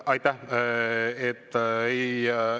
Aitäh!